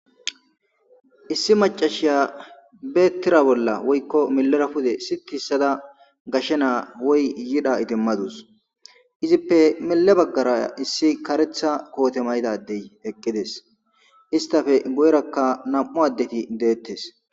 Issi macashiya beettira bolla woykko melera pude si kiissada gashshe naa woy yidha itimmadus izippe mele baggara issi karetha koote maydadey eqqides istafe goyrakka nam7u addeti deettes.